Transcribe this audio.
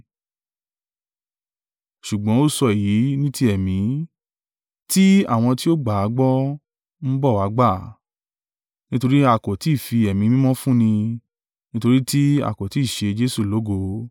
Ṣùgbọ́n ó sọ èyí ní ti ẹ̀mí, tí àwọn tí ó gbà á gbọ́ ń bọ̀ wá gbà, nítorí a kò tí ì fi Èmí Mímọ́ fún ni; nítorí tí a kò tí ì ṣe Jesu lógo.